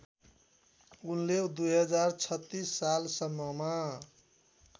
उनले २०३६ सालसम्ममा